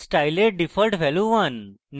স্টাইলের default value হল 1